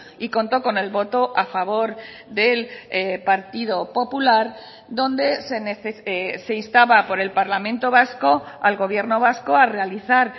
y contó con el voto a favor del partido popular donde se instaba por el parlamento vasco al gobierno vasco a realizar